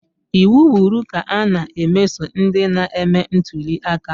Iwu kwuru ka a na-emeso ndị na-eme ntuliaka